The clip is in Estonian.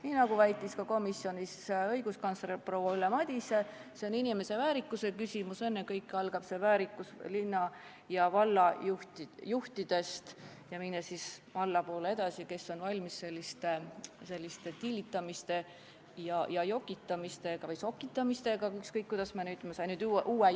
Nii nagu väitis ka komisjonis õiguskantsler proua Ülle Madise, see on inimese väärikuse küsimus, ennekõike algab see väärikus linna ja valla juhtidest ning läheb siis allapoole edasi, et kes on valmis sellisteks tillitamisteks, jokitamisteks või sokitamisteks – ükskõik, kuidas me seda nimetame.